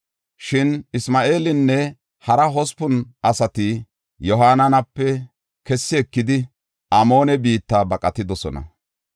Shin Isma7eelinne hara hospun asati Yohaananape kessi ekidi, Amoone biitta baqatidosona.